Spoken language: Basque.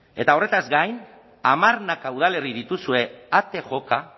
eta horretaz gain hamarnaka udalerri dituzue ate joka